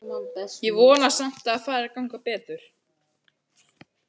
Ég vona samt að fari að ganga betur.